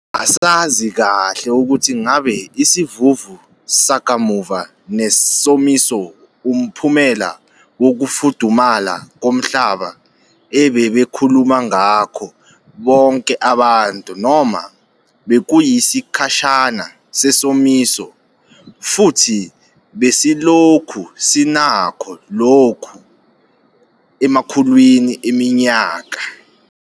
Asazi kahle ukuthi ngabe isivuvu sakamuva nesomiso umphumela wokufudumala komhlaba ebebekhuluma ngakho bonke abantu, noma bekuyisikhashana sesomiso futhi besilokhu sinakho lokhu emakhulwini eminyaka.